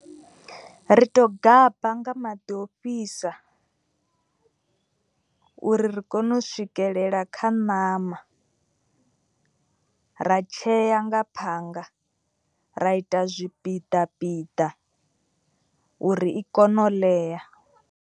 Ri tou gaba nga maḓi ofhisa uri ri kone u swikelela kha ṋama. Ra tshea nga phanga ra ita zwipiḓa piḓa uri i kone u ḽea.